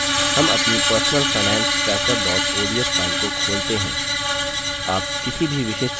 हम अपनी personal finance tracker ods file को खोलते हैं